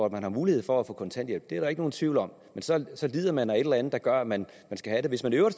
man har mulighed for at få kontanthjælp det er der ikke nogen tvivl om men så lider man af et eller andet der gør at man skal have det hvis man i øvrigt